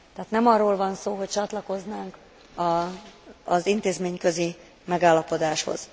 Tehát nem arról van szó, hogy csatlakoznánk az intézményközi megállapodáshoz.